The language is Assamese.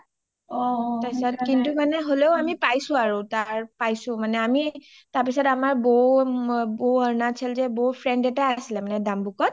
কিন্তু কানে হ’লেও আমি পাইছো আৰু কমলা বিলাক তাৰ পাইছো আৰু তাৰ পাছত আমাৰ বৌ আৰুণাচল যে বৌৰ friend এটা আছিলে মানে ডাম্বুকত